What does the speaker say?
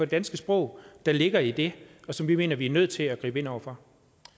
danske sprog der ligger i det og som vi mener vi er nødt til at gribe ind over for